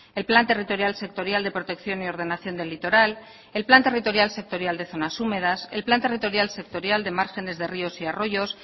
el plan territorial sectorial de protección y ordenación del litoral el plan territorial sectorial de zonas húmedas el plan territorial sectorial de márgenes de ríos y arroyos